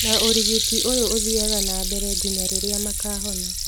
Na ũrigiti ũyũ ũthiaga na mbere nginya rĩrĩa makahona